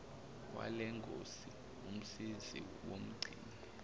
walengosi umsizi womgcini